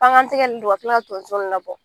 K'an ka tigɛ nunnu don ka kila ka tonso nunnu labɔ .